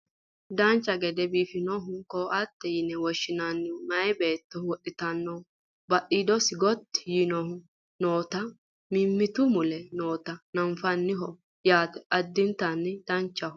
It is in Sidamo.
dancha gede biifannohu ko"attete yine woshshinannihu maye beetto wodhitannohu badhiidosi gotti yiinohu nootanna mimmitu mule noota nafanniho yaate addinta danchaho